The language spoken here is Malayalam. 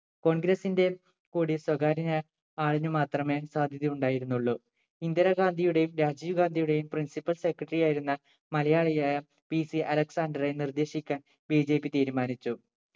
Congress ന്റെ കൂടി സ്വകാര്യനാ ആളിനു മാത്രമേ സാധ്യത ഉണ്ടായിരുന്നുള്ളൂ ഇന്ദിരാഗാന്ധിയുടെയും രാജിവ്ഗാന്ധിയുടെയും principle secretary ആയിരുന്ന മലയാളി ആയ PC അലക്സാണ്ടറെ നിർദ്ദേശിക്കാൻ BJP തീരുമാനിച്ചു